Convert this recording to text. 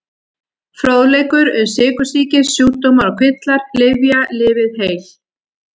Fróðleikur um sykursýki Sjúkdómar og kvillar Lyfja- Lifið heil.